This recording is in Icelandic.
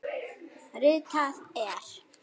Ritað er